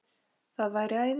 Það væri æði